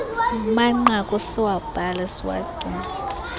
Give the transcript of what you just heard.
manqaku siwabhale siwagcine